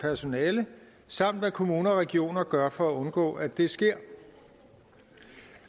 personale samt hvad kommuner og regioner gør for at undgå at det sker